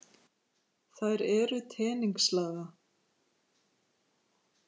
Þær eru teningslaga.